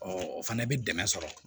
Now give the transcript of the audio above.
o fana bɛ dɛmɛ sɔrɔ